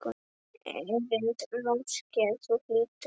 Erindi máske þú hlýtur.